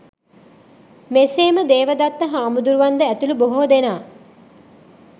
මෙසේම දේවදත්ත හාමුදුරුවන් ද ඇතුළු බොහෝ දෙනා